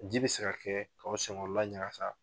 Ji bi se ka kɛ k'aw sen kɔrɔ la ɲakasa